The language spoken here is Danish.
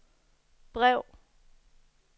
brev